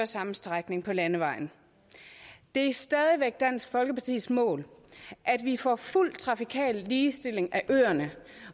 samme strækning på landevejen det er stadig væk dansk folkepartis mål at vi får fuld trafikal ligestilling af øerne